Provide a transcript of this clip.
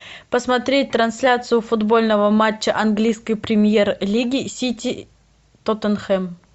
посмотреть трансляцию футбольного матча английской премьер лиги сити тоттенхэм